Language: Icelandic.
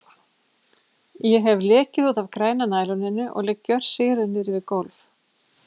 Ég hef lekið út af græna næloninu og ligg gjörsigruð niðri við gólf.